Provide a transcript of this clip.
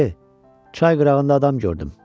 Dayı, çay qırağında adam gördüm.